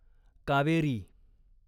Kaveri